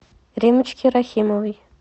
риммочке рахимовой